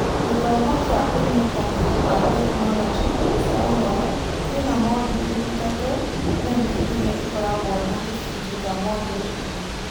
Gĩthomo kĩa ũnyitanĩri wa tekinoronjĩ cia ũhoro kĩrĩ na moduli ithatũ nene iria ikoragwo na tũcunjĩ twa moduli ingĩ.